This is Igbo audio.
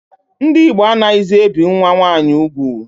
Ndị Igbo anaghịzi ebi nwa nwaanyi ugwu